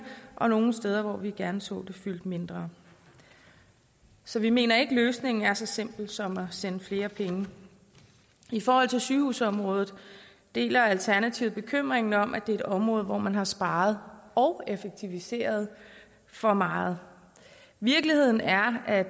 og nogle steder hvor vi gerne så det fyldte mindre så vi mener ikke at løsningen er så simpel som at sende flere penge i forhold til sygehusområdet deler alternativet bekymringen om at det er et område hvor man har sparet og effektiviseret for meget virkeligheden er at